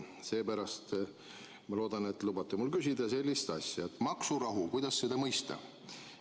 Seepärast ma loodan, et lubate mul küsida sellist asja: maksurahu – kuidas seda mõista?